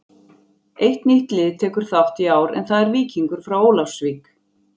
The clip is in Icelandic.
Eitt nýtt lið tekur þátt í ár en það er Víkingur frá Ólafsvík.